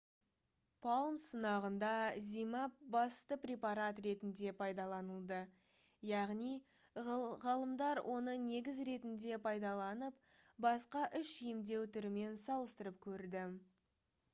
palm сынағында zmapp басты препарат ретінде пайдаланылды яғни ғалымдар оны негіз ретінде пайдаланып басқа үш емдеу түрімен салыстырып көрді